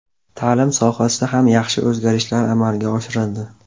Ta’lim sohasida ham yaxshi o‘zgarishlar amalga oshirildi.